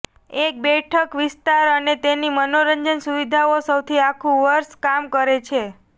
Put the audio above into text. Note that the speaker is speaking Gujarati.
એક બેઠક વિસ્તાર અને તેની મનોરંજન સુવિધાઓ સૌથી આખું વર્ષ કામ કરે છે